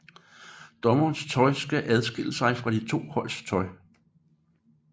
Dommerteamets tøj skal adskille sig fra de to holds tøj